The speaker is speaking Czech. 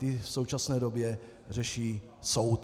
Ty v současné době řeší soud.